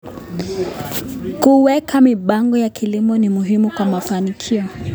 Kuweka mipango ya kilimo ni muhimu kwa mafanikio.